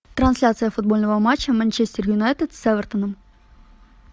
трансляция футбольного матча манчестер юнайтед с эвертоном